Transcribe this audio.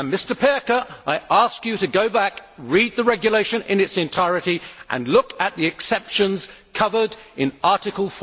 Mr Pirker, I ask you to go back, read the regulation in its entirety and look at the exceptions covered in Article